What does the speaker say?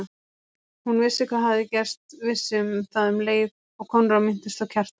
Hún vissi hvað hafði gerst, vissi það um leið og Konráð minntist á Kjartan.